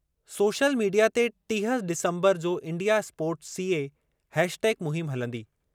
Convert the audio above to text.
Social media ते टीह December जो इंडिया स्पोर्ट सीऐ हैशटैग मुहिम हलंदी।